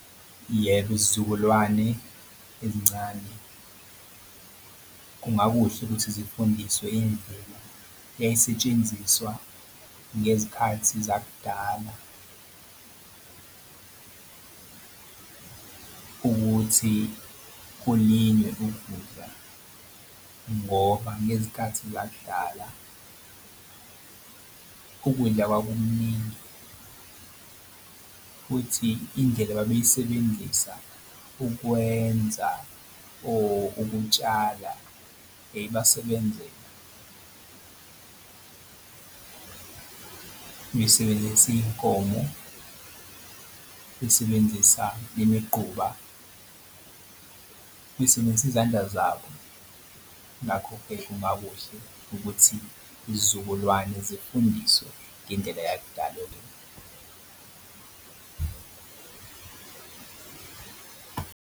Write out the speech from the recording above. Yebo, izizukulwane ezincane kungakuhle ukuthi zifundiswe imvelo yayisetshenziswa ngezikhathi zakudala ukuthi kuningi ukudla ngoba ngezikhathi zakudlala ukudla kwakukuningi futhi indlela babeyisebenzisa ukwenza or ukutshala yayibasebenzela. Besebenzisa iy'nkomo besebenzisa nemiqhuba besebenzisa izandla zabo. Ngakho-ke kungakuhle ukuthi izizukulwane zifundiswe ngendlela yakudala .